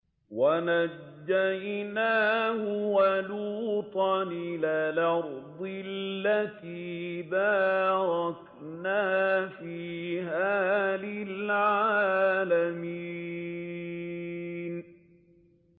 وَنَجَّيْنَاهُ وَلُوطًا إِلَى الْأَرْضِ الَّتِي بَارَكْنَا فِيهَا لِلْعَالَمِينَ